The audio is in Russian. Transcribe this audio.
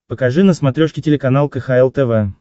покажи на смотрешке телеканал кхл тв